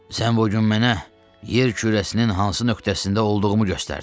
"Sən bu gün mənə yer kürəsinin hansı nöqtəsində olduğumu göstərdin.